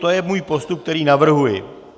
To je můj postup, který navrhuji.